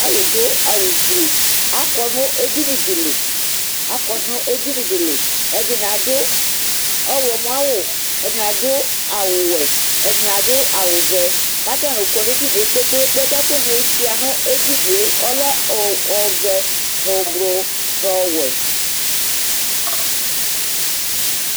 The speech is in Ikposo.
Alʋdʋ awʋ gblʋʋ akɔnʋ edinidili Ɛdini adʋ ɔwlɔmɔ awʋ, ɛdini adʋ awʋwe, ɛdini adʋ adʋ wʋvɛ kʋ atani kɔnʋ edinie kpe kpe kpe Kʋ ɛkʋni suia nʋ edinie ɔlɛ ɔvɛ, nʋ ʋnlʋ, nʋ ɔwɛ